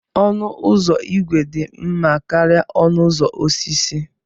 Ọnụ ụzọ ígwè dị mma karịa ọnụ ụzọ osisi.